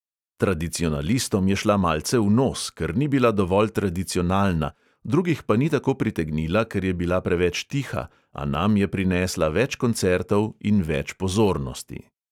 Tradicionalistom je šla malce v nos, ker ni bila dovolj tradiconalna, drugih pa ni tako pritegnila, ker je bila preveč tiha, a nam je prinesla več koncertov in več pozornosti.